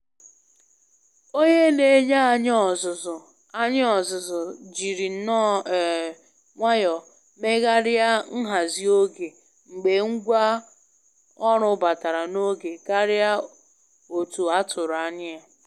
Onye Na-enye anyị ọzụzụ anyị ọzụzụ jiri nnọọ um nwayọ megharịa nhazi oge mgbe ngwa ọrụ batara na oge karịa otu atụrụ anya ya